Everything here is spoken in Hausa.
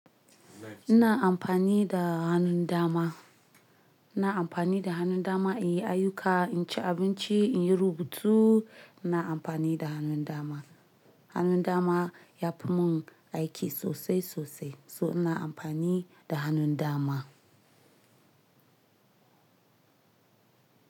Ina amfani da hannun dama, ina amfani da hannun dama in yi ayuka, in ci abinci, in yi rubutu. Ina amfani da hannun dama. Hannun dama yafi mun aiki sosai sosai, so ina amfani da hannun dama.